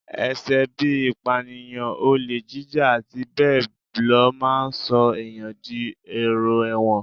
Ẹ̀ṣẹ̀ bí i ìpànìyàn, olè jíjà, àti bẹ́ẹ̀ ló máa ń sọ èèyàn di èrò ẹ̀wọ̀n